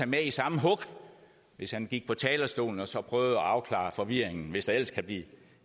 med i samme hug hvis han gik på talerstolen og så prøvede at afklare forvirringen hvis der ellers kan blive